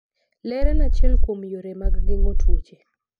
Ler en achiel kuom yore mag geng'o tuoche.